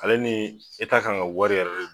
Ale ni eta kan ka wari yɛrɛ de don